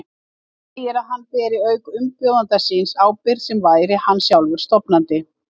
Segir að hann beri auk umbjóðanda síns ábyrgð sem væri hann sjálfur stofnandi.